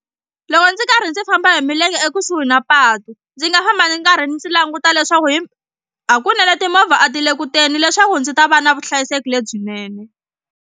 Loko ndzi karhi ndzi famba hi milenge ekusuhi na patu ndzi nga famba ndzi karhi ndzi languta leswaku hi hakunene timovha a ti le ku teni leswaku ndzi ta va na vuhlayiseki lebyinene.